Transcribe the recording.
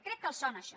crec que els sona això